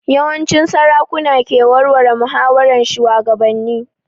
Yawanci sarakuna ke warware muhawaran shugabannin